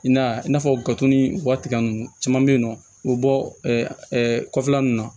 I n'a i n'a fɔ gato ni wa tigɛ ninnu caman bɛ yen nɔ u bɛ bɔ kɔfɛla ninnu na